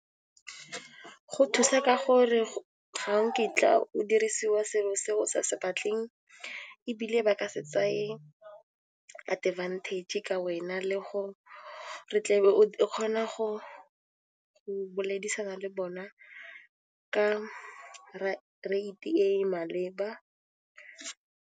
Go thusa ka gore ga o kitla o dirisiwa selo se o sa se batleng ebile ba ka se tsaye advantage ka wena le go re tle o kgona go boledisana le bona ka rate e maleba.